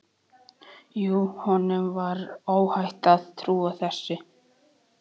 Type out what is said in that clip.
Jú, honum var óhætt að trúa þessu!